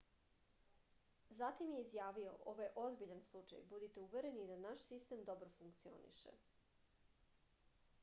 zatim je izjavio ovo je ozbiljan slučaj budite uvereni da naš sistem dobro funkcioniše